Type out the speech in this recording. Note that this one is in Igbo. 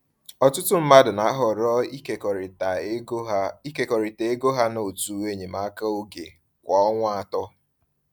Ọtụtụ mmadụ na-ahọrọ ịkekọrịta ego ha ịkekọrịta ego ha na òtù enyemaka oge kwa ọnwa atọ.